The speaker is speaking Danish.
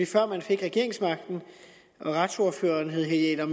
før man fik regeringsmagten og retsordføreren hed herre